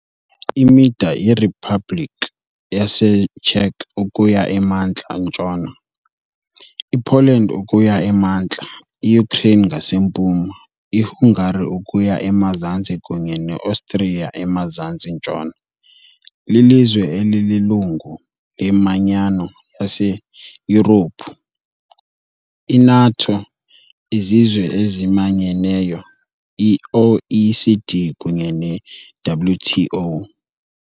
Imida iRiphabhlikhi yaseCzech ukuya emantla-ntshona, iPoland ukuya emantla, iUkraine ngasempuma, iHungary ukuya emazantsi kunye neOstriya emazantsi-ntshona. Lilizwe elililungu leManyano yaseYurophu, i-NATO, iZizwe eziManyeneyo, i-OECD kunye neWTO .